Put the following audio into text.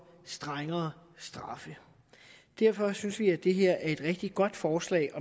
strengere straffe derfor synes vi at det her er et rigtig godt forslag